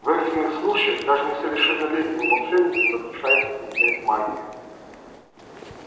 в экстренных случаях даже несовершеннолетним волшебникам разрешается применять магию